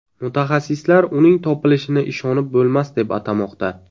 Mutaxassislar uning topilishini ishonib bo‘lmas deb atamoqda.